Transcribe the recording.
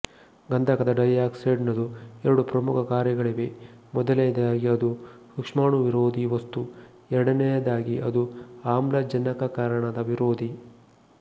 ಗಂಧಕದ ಡೈಆಕ್ಸೈಡ್ ನದು ಎರಡು ಪ್ರಮುಖ ಕಾರ್ಯಗಳಿವೆ ಮೊದಲನೆಯದಾಗಿ ಅದು ಸೂಕ್ಷ್ಮಾಣುವಿರೋಧಿ ವಸ್ತು ಎರಡನೆಯದಾಗಿ ಅದು ಆಮ್ಲಜನಕಕರಣದ ವಿರೋಧಿ